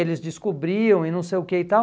Eles descobriam e não sei o que e tal.